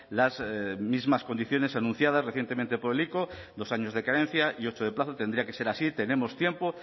las mismas condiciones anunciadas recientemente por el ico dos años de carencia y ocho de plazo tendría que ser así tenemos tiempo